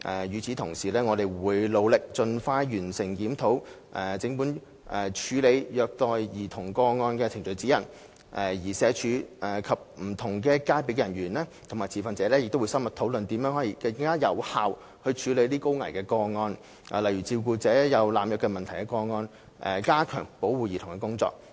與此同時，我們會努力盡快完成檢討整份處理虐待兒童個案程序指引，而社署及不同界別的人員及持份者亦會深入討論如何更有效處理高危個案，例如照顧者有濫藥問題的個案，以加強保護兒童的工作。